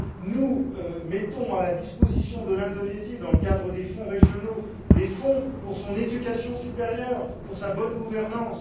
Nous mettons à la disposition de l'Indonésie, dans le cadre des fonds régionaux, des fonds pour son enseignement supérieur, pour sa bonne gouvernance.